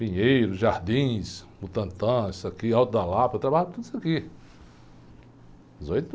Pinheiro, Jardins, Butantã, isso aqui, Alto da Lapa, eu trabalhava por tudo isso aqui.